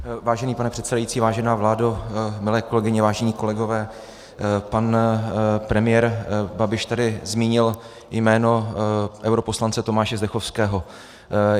Vážený pane předsedající, vážená vládo, milé kolegyně, vážení kolegové, pan premiér Babiš tady zmínil jméno europoslance Tomáše Zdechovského.